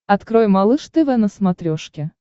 открой малыш тв на смотрешке